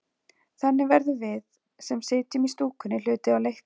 Þannig verðum við, sem sitjum í stúkunni, hluti af leiknum.